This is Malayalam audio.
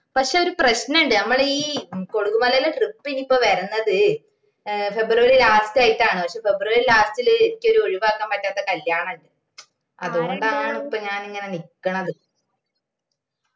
പക്ഷെ ഒരു പ്രശ്നണ്ട് ഞമ്മളെ ഈ കൊളുകുമലിലെ trip ഇനീപ്പോ വരുന്നത് ഏർ ഫെബ്രുവരി last ആയിട്ടാണ് പക്ഷെ ഫെബ്രുവരി last ഇല് അനക്കോരി ഒഴിവാക്കാൻ പറ്റാത്ത ഒരു കല്യാണാണ്ട് അതോണ്ടാണിപ്പോ ഞാനിങ്ങനെ നിക്കണത്